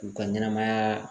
U ka ɲɛnɛmaya